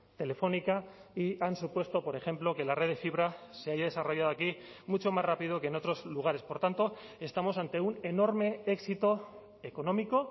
telefónica y han supuesto por ejemplo que la red de fibra se haya desarrollado aquí mucho más rápido que en otros lugares por tanto estamos ante un enorme éxito económico